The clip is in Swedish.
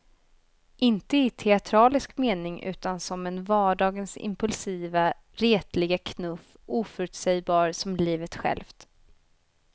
Inte i teatralisk mening utan som en vardagens impulsiva, retliga knuff, oförutsägbar som livet självt.